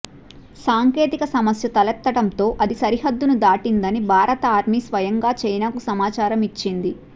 సాంకేతిక సమస్య తలెత్తటంతో అది సరిహద్దును దాటిందని భారత ఆర్మీ స్వయంగా చైనాకి సమాచారం ఇచ్చింది